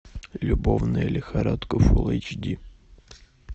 любовная лихорадка фул эйч ди